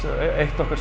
eitt okkar